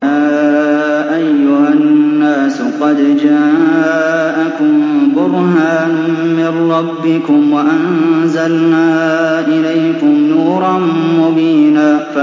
يَا أَيُّهَا النَّاسُ قَدْ جَاءَكُم بُرْهَانٌ مِّن رَّبِّكُمْ وَأَنزَلْنَا إِلَيْكُمْ نُورًا مُّبِينًا